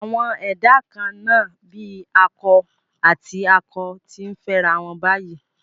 Àwọn ẹ̀dá kan-án-nà bíi akọ àti akọ ti ń fẹ́rawọn báyìí